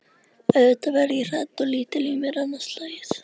auðvitað verð ég hrædd og lítil í mér annað slagið.